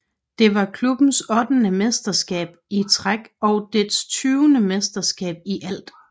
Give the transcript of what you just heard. Det var klubbens ottende mesterskab i træk og deres tyvende mesterskab i alt